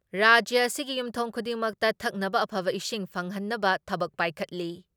ꯔꯥꯖ꯭ꯌ ꯑꯁꯤꯒꯤ ꯌꯨꯝꯊꯣꯡ ꯈꯨꯗꯤꯡꯃꯛꯇ ꯊꯛꯅꯕ ꯑꯐꯕ ꯏꯁꯤꯡ ꯐꯪꯍꯟꯅꯕ ꯊꯕꯛ ꯄꯥꯏꯈꯠꯂꯤ ꯫